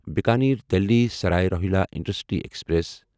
Bikaner Delhi Sarai Rohilla intercity express